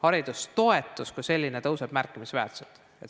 Haridustoetus kui selline tõuseb märkimisväärselt.